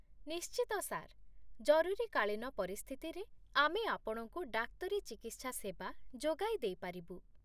ନିଶ୍ଚିତ, ସାର୍। ଜରୁରୀକାଳୀନ ପରିସ୍ଥିତିରେ ଆମେ ଆପଣଙ୍କୁ ଡାକ୍ତରୀ ଚିକିତ୍ସା ସେବା ଯୋଗାଇ ଦେଇପାରିବୁ।